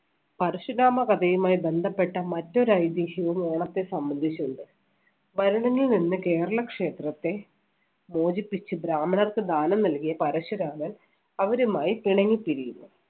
പരശുരാമ കഥയുമായി ബന്ധപ്പെട്ട മറ്റൊരു ഐതിഹ്യവും ഓണത്തെ സംബന്ധിച്ചുണ്ട്. ഭരണങ്ങില്‍ നിന്ന് കേരള ക്ഷേത്രത്തെ മോചിപ്പിച്ച് ബ്രാഹ്മണർക്ക് ദാനം നൽകിയ പരശുരാമൻ അവരുമായി പിണങ്ങി പിരിയുന്നു.